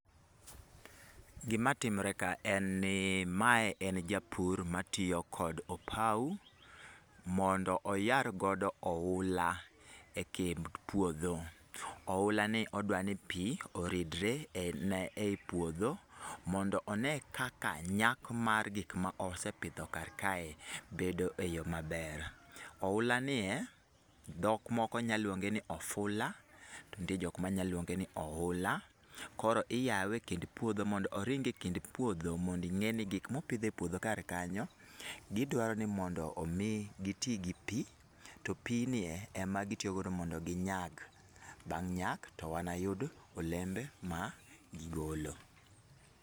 Gima timre ka en ni mae en japur matiyo kod opau, mondo oyar godo oula e kind puodho. Oula ni odwani pi oridre e i puotho, mondo one kaka nyak mar gik ma osepidho kar kae bedo e yo maber. Oula nie, dhok moko nya luonge ni ofula, to nitie jok ma nya luonge ni oula. Koro iyawe e kind puodho mondo oring e kind puodho mondo ing'e ni gik mopidh e puodho kar kanyo, gidwaro ni mondo omi gitii gi pi, to pi nie e ma gitiyogodo mondo gi nyak, bang' nyak to wanayud olembe ma gigolo.